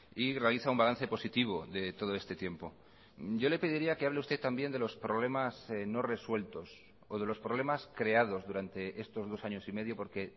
y realiza un balance positivo de todo este tiempo yo le pediría que hable usted también de los problemas no resueltos o de los problemas creados durante estos dos años y medio porque